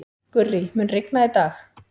Gurrí, mun rigna í dag?